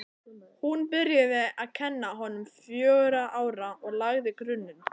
Hún byrjaði að kenna honum fjögurra ára og lagði grunninn.